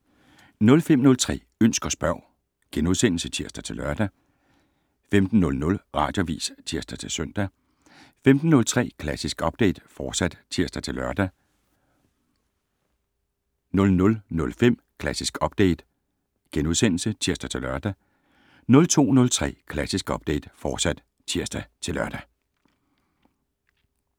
05:03: Ønsk og spørg *(tir-lør) 15:00: Radioavis (tir-søn) 15:03: Klassisk Update, fortsat (tir-lør) 00:05: Klassisk Update *(tir-lør) 02:03: Klassisk Update, fortsat (tir-lør)